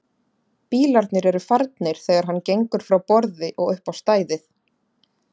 Bílarnir eru farnir þegar hann gengur frá borði og upp á stæðið.